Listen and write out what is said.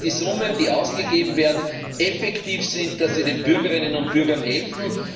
Wir sehen, dass die Summen, die ausgegeben werden, effektiv sind, dass sie den Bürgerinnen und Bürgern helfen.